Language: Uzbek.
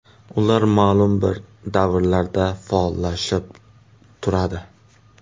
Ular ma’lum bir davrlarda faollashib turadi.